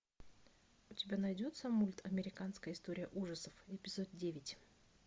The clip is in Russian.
у тебя найдется мульт американская история ужасов эпизод девять